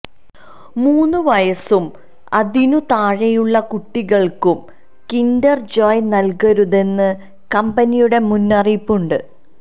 മൂന്നു വയസും അതിനു താഴെയുള്ള കുട്ടികള്ക്കും കിന്റര് ജോയ് നല്കരുതെന്ന് കമ്പനിയുടെ മുന്നറിയിപ്പ് ഉണ്ട്